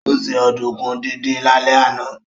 Ó se ọ̀dùnkún díndín lálẹ́ àná